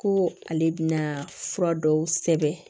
Ko ale bɛna fura dɔw sɛbɛn